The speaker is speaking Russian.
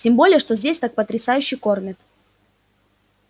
тем более что здесь так потрясающе кормят